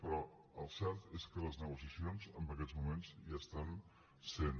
però el cert és que les negociacions en aquests moments hi estan sent